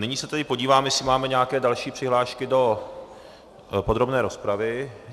Nyní se tedy podívám, jestli máme nějaké další přihlášky do podrobné rozpravy.